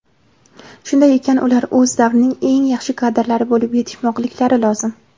Shunday ekan ular o‘z davrining eng yaxshi kadrlari bo‘lib yetishmoqliklari lozim.